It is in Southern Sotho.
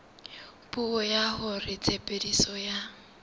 puo ya hore tshebediso ya